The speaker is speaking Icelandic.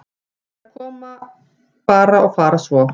Þær bara koma og fara svo.